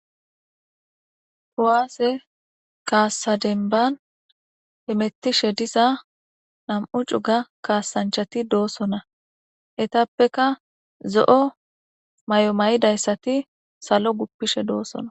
Kuwaase kaassadenban hemettishe diza nam7u cuga kaasanchati doosona etappeka zo7o may7o may7idayssati salo guppishe doossona